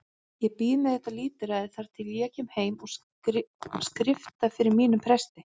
Ég bíð með þetta lítilræði þar til ég kem heim og skrifta fyrir mínum presti.